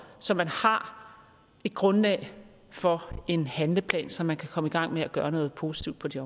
så man har et grundlag for en handleplan så man kan komme i gang med at gøre noget positivt på det